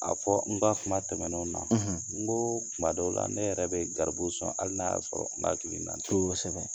A fɔ n ka kuma tɛmɛnenw na n go kuma dɔw la ne yɛrɛ bɛ garibu sɔn hali n'a y'a sɔrɔ kosɛbɛ.